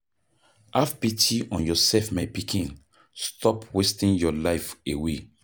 Have pity on yourself my pikin, stop wasting your life away.